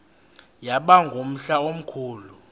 yaba ngumhla omkhulu